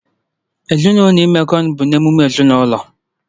Ezinụlọ imekọ ọnụ bụ otu n'ime emume ezinaụlọ